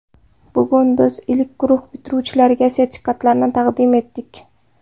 Bugun biz ilk guruh bitiruvchilariga sertifikatlarni taqdim etdik.